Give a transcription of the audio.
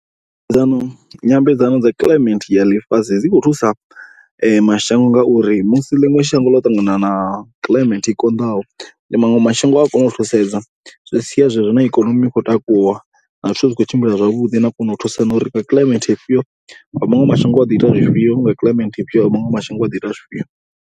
Ndo, nyambedzano dza climate ya ḽifhasi dzi khou thusa mashango ngauri musi ḽiṅwe shango ḽo ṱangana na climate i konḓaho maṅwe mashango a ya kona u thusedza. Zwi sia zwezwo na ikonomi i khou takuwa na zwithu zwi khou tshimbila zwavhuḓi na u kona u thusana ngauri ri kha climate ifhio. Vha maṅwe mashango vha ḓo ita zwifhio vha climate ifhio ya maṅwe mashango vha ḓo ita zwifhio.